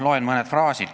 Loen ette mõned fraasid.